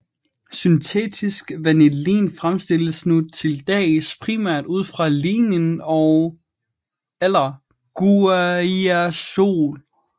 Syntetisk vanillin fremstilles nu til dags primært ud fra lignin eller guaiacol